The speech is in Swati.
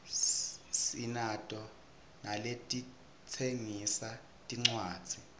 sinato naletitsengisa tincuadzi